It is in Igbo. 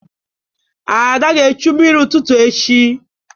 Ada ga-echu mmiri n'ụtụtụ echi.